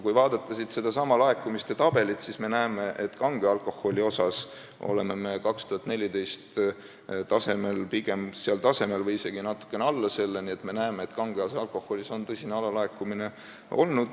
Kui vaadata sedasama laekumiste tabelit, siis me näeme, et kange alkoholiga me oleme 2014. aasta tasemel – pigem seal tasemel või isegi natuke alla selle –, nii et me näeme kange alkoholi aktsiisi tõsist alalaekumist.